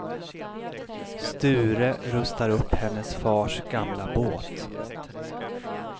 Sture rustar upp hennes fars gamla båt.